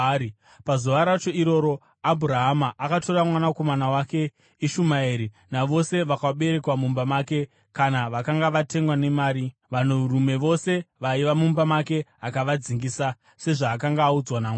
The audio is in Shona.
Pazuva racho iroro Abhurahama akatora mwanakomana wake Ishumaeri navose vakaberekwa mumba make kana vakanga vatengwa nemari, vanhurume vose vaiva mumba make, akavadzingisa, sezvaakanga audzwa naMwari.